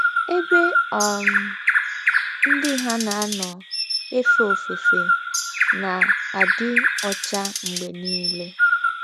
Ebe um ndị ha na - anọ efe ọfụfe na - adị ọcha mgbe niile.